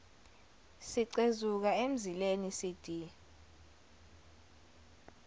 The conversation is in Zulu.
sicezuka emzileni cd